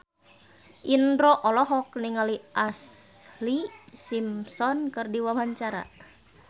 Indro olohok ningali Ashlee Simpson keur diwawancara